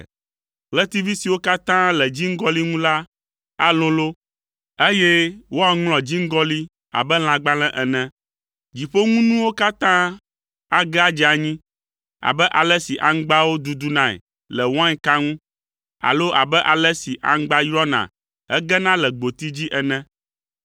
Ɣletivi siwo katã le dziŋgɔli ŋu la alolo, eye woaŋlɔ dziŋgɔli abe lãgbalẽ ene. Dziƒoŋunuwo katã age adze anyi abe ale si aŋgbawo dudunae le wainka ŋu alo abe ale si aŋgba yrɔna hegena le gboti dzi ene.